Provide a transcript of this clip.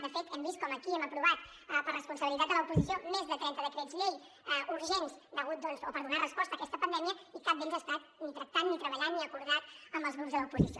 de fet hem vist com aquí hem aprovat per responsabilitat de l’oposició més de trenta decrets llei urgents per donar resposta a aquesta pandèmia i cap d’ells ha estat ni tractat ni treballat ni acordat amb els grups de l’oposició